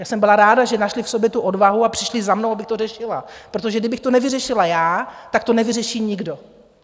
Já jsem byla ráda, že našli v sobě tu odvahu a přišli za mnou, abych to řešila, protože kdybych to nevyřešila já, tak to nevyřeší nikdo.